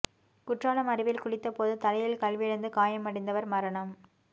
குற்றாலம் அருவியில் குளித்தபோது தலையில் கல் விழுந்து காயமடைந்தவர் மரணம்